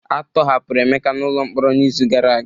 A tọhapụrụ Emeka n'ụlọ mkpọrọ n'izu gara aga